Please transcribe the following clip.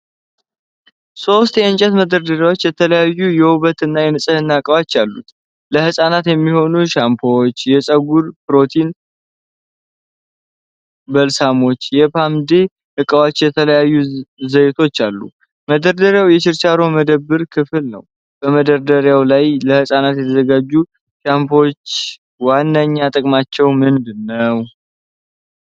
ሦስት የእንጨት መደርደሪያዎች የተለያዩ የውበትና የንጽህና ዕቃዎች አሉ። ለህፃናት የሚሆኑ ሻምፖዎች፣ የፀጉር ፕሮቲን በልሳሞች፣ የፖማዴ ዕቃዎችና የተለያዩ ዘይቶች አሉ። መደርደሪያው የችርቻሮ መደብር ክፍል ነው። በመደርደሪያው ላይ ለህፃናት የተዘጋጁት ሻምፖዎች ዋነኛ ጥቅማቸው ምንድን ነው?